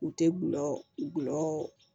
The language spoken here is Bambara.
U tɛ gulɔ gulɔ